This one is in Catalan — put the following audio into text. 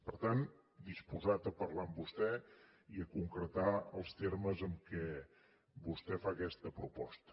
per tant disposat a parlar amb vostè i a concretar els termes en què vostè fa aquesta proposta